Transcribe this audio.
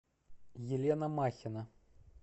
елена махина